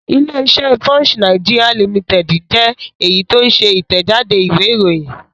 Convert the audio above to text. Ilé-iṣẹ́ Punch Nigeria Limited jẹ́ èyí tó ń ṣe Ìtẹ̀jáde ìwé-ìròyìn.